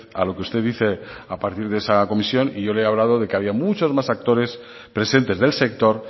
a lo que usted dice a partir de esa comisión y yo le he hablado de que había muchos más actores presentes del sector